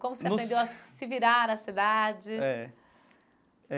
Como você aprendeu a se virar na cidade? É.